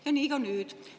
Ja nii ka nüüd.